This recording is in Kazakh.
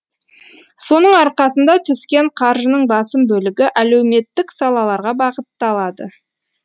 соның арқасында түскен қаржының басым бөлігі әлеуметтік салаларға бағытталады